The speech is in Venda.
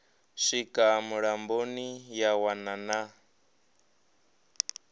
swika mulamboni ya wana na